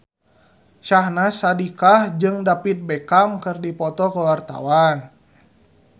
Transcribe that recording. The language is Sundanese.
Syahnaz Sadiqah jeung David Beckham keur dipoto ku wartawan